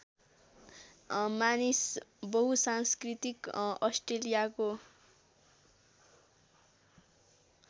मानिस बहुसांस्कृतिक अस्ट्रेलियाको